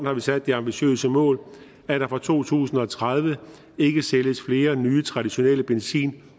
har vi sat det ambitiøse mål at der fra to tusind og tredive ikke sælges flere nye traditionelle benzin